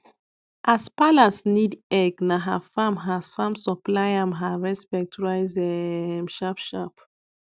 as palace need egg na her farm her farm supply am her respect rise um sharpsharp